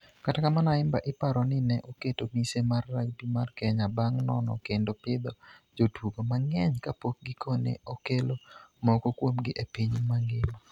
Kata kamano, Ayimba iparo ni ne oketo mise mar rugby mar Kenya bang' nono kendo pidho jotugo mang'eny kapok gikone okelo moko kuomgi e piny mangima.